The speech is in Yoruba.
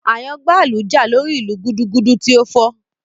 Àyàngbáàlù jà lórí ìlù gudugudu tí ó fọ́